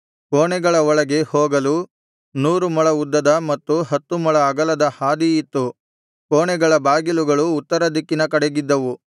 ಕೋಣೆಗಳ ಒಳಗೆ ಹೋಗಲು ನೂರು ಮೊಳ ಉದ್ದದ ಮತ್ತು ಹತ್ತು ಮೊಳ ಅಗಲದ ಹಾದಿ ಇತ್ತು ಕೋಣೆಗಳ ಬಾಗಿಲುಗಳು ಉತ್ತರದಿಕ್ಕಿನ ಕಡೆಗಿದ್ದವು